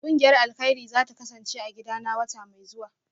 Kungiyar alkairi zata kasance a gidana wata mai zuwa